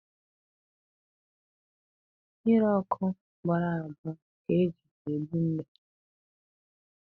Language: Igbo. Mmiri ọkụ gbọrọ agbọ ka e ji egbu mbe.